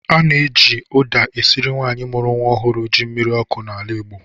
A na-eji ụda esiri nwaanyị mụrụ nwa ọhụrụ ji mmiri ọkụ n'ala Igbo.